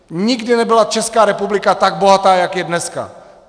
Nikdy nebyla Česká republika tak bohatá, jako je dneska.